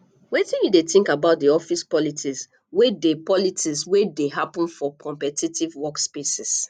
wetin you dey think about di office politics wey dey politics wey dey happen for competitive workspaces